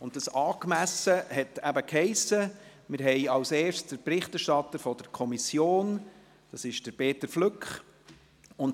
«Angemessen» heisst eben, dass wir zuerst den Berichterstatter der Kommission, Peter Flück, hören.